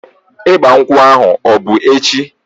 Ịgba nkwụ ahu ọ bụ echi?